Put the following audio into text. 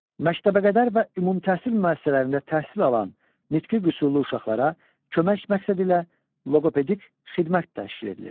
Məktəbəqədər və ümumtəhsil müəssisələrində təhsil alan nitqi qüsurlu uşaqlara kömək məqsədi ilə loqopedik xidmət təşkil edilir.